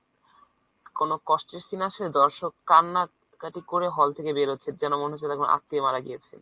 কোন কষ্টের scene আসছে দর্শক কান্নাকাটি করে hall থেকে বেরোচ্ছে যেন মনে হচ্ছে তাদের কোন আত্মীয় মারা গিয়েছে।